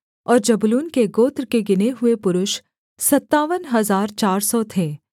और जबूलून के गोत्र के गिने हुए पुरुष सत्तावन हजार चार सौ थे